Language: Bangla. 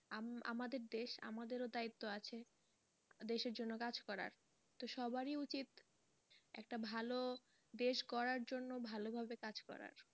আম~আমাদের দেশ আমাদেরও দায়িত্ব আছে দেশের জন্য কাজ করার তো সবারই উচিৎ একটা ভালো দেশ করার জন্য ভালোভাবে কাজ করার।